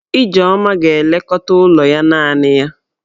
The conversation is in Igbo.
Ijeoma ga-elekọta ụlọ ya naanị ya.